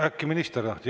Äkki minister?